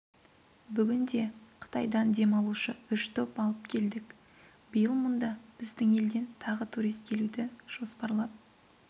бүгінде қытайдан демалушы үш топ алып келдік биыл мұнда біздің елден тағы турист келуді жоспарлап